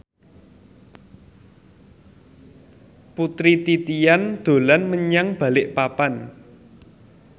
Putri Titian dolan menyang Balikpapan